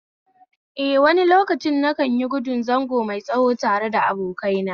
Eh, wani lokaci nikanyigudun zango mai tsawo tare da abokaina